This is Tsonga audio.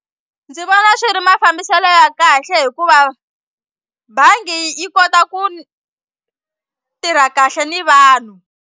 Ndzi vona swi ri mafambiselo ya kahle hikuva bangi yi kota ku tirha kahle ni vanhu.